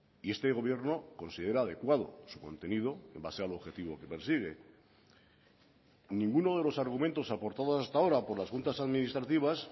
y este gobierno considera adecuado su contenido en base al objetivo que persigue ninguno de los argumentos aportados hasta ahora por las juntas administrativas